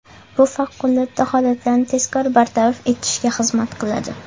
Bu favqulodda holatlarni tezkor bartaraf etishga xizmat qiladi.